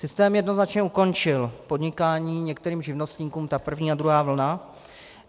Systém jednoznačně ukončil podnikání některým živnostníkům, ta první a druhá vlna.